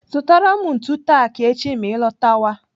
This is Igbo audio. Zụtara m ntu tak echi ma ị lọtọwa.